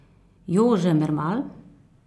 Jože Mermal?